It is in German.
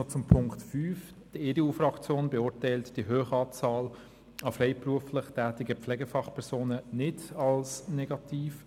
Zu Punkt 5: Die EDU-Fraktion erachtet die hohe Anzahl an freiberuflich tätigen Pflegefachpersonen nicht als negativ.